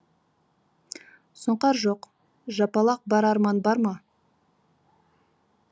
сұңқар жоқ жапалақ бар арман бар ма